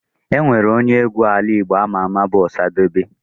Enwere onye egwu ala Igbo ama ama bu Osadebe.